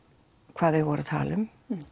hvað þeir voru tala um